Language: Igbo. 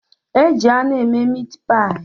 E ji anụ eme miit paayi